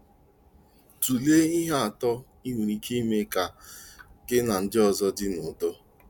Tụlee ihe atọ i nwere ike ime ka gị na ndị ọzọ dị n'udo.